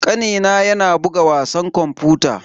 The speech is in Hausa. Kanina yana buga wasan kwamfuta.